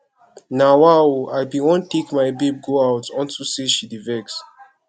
nawa oooo i bin wan take my babe go out unto say she dey vex